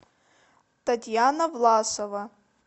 татьяна власова